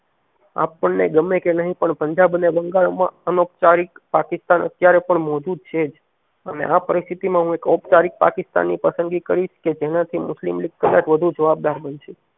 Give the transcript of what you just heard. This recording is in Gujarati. આપણે ને ગમે કે નથી પણ પંજાબ અને બંગાળ માં અનૌપચારિક પાકિસ્તાન અતેયારે પણ મોજુદ છે જ અને આ પરિસ્થિતિમાં હું એમ ઔપચારિક પાકિસ્તાન ની પસંદગી કરી જેનાથી મુસ્લિમ લીગ વધુ જવાબદાર બનશે